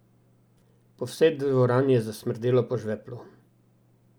Po vsej dvorani je zasmrdelo po žveplu.